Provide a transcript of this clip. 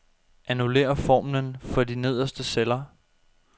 Annullér formlen for de nederste celler.